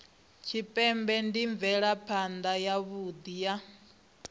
tshipembe ndi mvelaphana yavhui ya